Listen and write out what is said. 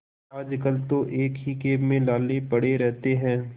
आजकल तो एक ही खेप में लाले पड़े रहते हैं